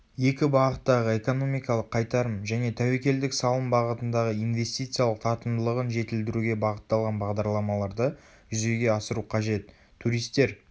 екі бағыттағы экономикалық қайтарым және тәуекелдік салым бағытындағы инвестициялық тартымдылығын жетілдіруге бағытталған бағдарламаларды жүзеге асыру қажет.туристер